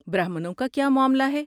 برہمنوں کا کیا معاملہ ہے؟